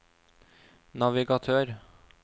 navigatør